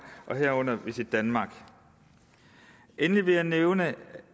herunder visitdenmark endelig vil jeg nævne